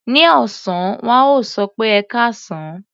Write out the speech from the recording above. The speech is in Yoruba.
Ní ọ̀sán, wọ́n á sọ pé "ẹkáàsán".